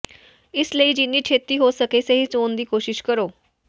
ਇਸ ਲਈ ਜਿੰਨੀ ਛੇਤੀ ਹੋ ਸਕੇ ਸਹੀ ਚੋਣ ਦੀ ਕੋਸ਼ਿਸ਼ ਕਰੋ